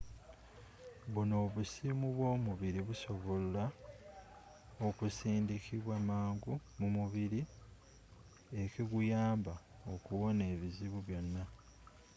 bunno obusimu bwomubiri busobolwa okusindikibwa mangu mumubiri ekiguyamba okuwona obuzibu bwonna